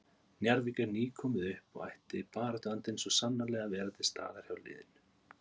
Njarðvík er nýkomið upp og ætti baráttuandinn svo sannarlega að vera til staðar hjá liðinu.